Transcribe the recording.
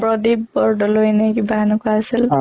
প্ৰদীপ বৰদলৈ নে কিবা এনুকা আছিল